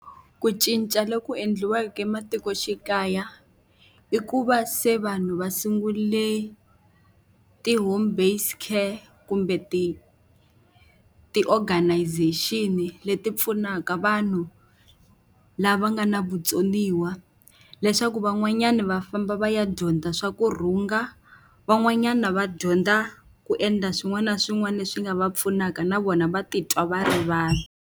Ku cinca loku endliweke ematikoxikaya i ku va se vanhu va sungule ti-home based care kumbe ti-organization-i leti pfunaka vanhu lava nga na vutsoniwa, leswaku van'wanyani va famba va ya dyondza swa ku rhunga, van'wanyana va dyondza ku endla swin'wana na swin'wana leswi nga va pfunaka na vona va titwa va ri vanhu.